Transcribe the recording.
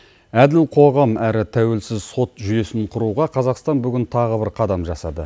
әділ қоғам әрі тәуелсіз сот жүйесін құруға қазақстан бүгін тағы бір қадам жасады